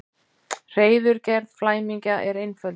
Hreiðurgerð flæmingja er einföld.